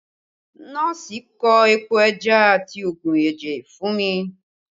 Nọ́ọ̀sì kọ epo ẹja àti oogun ẹ̀jẹ̀ fún mi